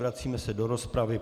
Vracíme se do rozpravy.